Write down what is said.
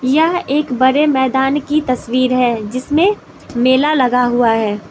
यह एक बड़े मैदान की तस्वीर है जिसमें मेला लगा हुआ है।